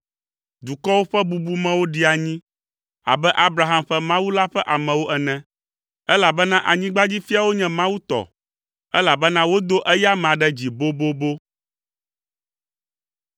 Dukɔwo ƒe bubumewo ɖi anyi abe Abraham ƒe Mawu la ƒe amewo ene, elabena anyigbadzifiawo nye Mawu tɔ, elabena wodo eya amea ɖe dzi bobobo.